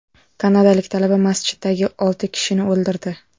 Kanadalik talaba masjiddagi olti kishini o‘ldirdi.